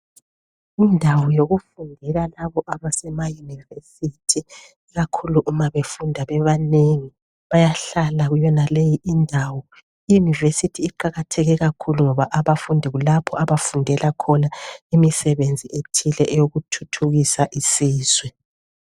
Kundawo yokufundela labo abasemayunivesithi. Ikakhulu uma befunda bebanengi bayahlala kuyenaleyi ndawo. Iyunivesithi iqakathekile kakhulu ngoba abafundi kulapho abafundela khona imisebenzi ethile eyokuthuthukisa isizwe.